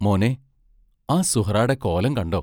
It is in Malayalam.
മോനേ, ആ സുഹ്റാടെ കോലം കണ്ടോ?